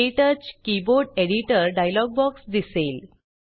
क्टच keyboard editor dialog box दिसेल